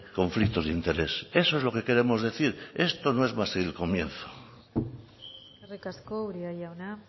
conflictos de interés eso es lo que queremos decir esto no es más que el comienzo eskerrik asko uria jauna